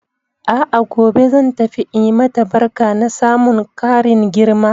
A'a gobe zan tafi in yi mata barka na samun karin girma.